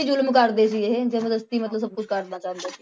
ਜ਼ੁਲਮ ਕਰਦੇ ਸੀ ਇਹ, ਜ਼ਬਰਦਸਤੀ ਮਤਲਬ ਸਭ ਕੁਛ ਕਰਨਾ ਚਾਹੁੰਦੇ